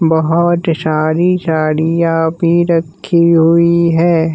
बहुत सारी साड़ियां भी रखी हुई हैं।